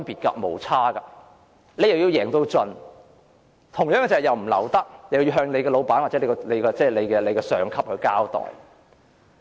建制派要贏到盡，但又不能流會，要向老闆或上級交代。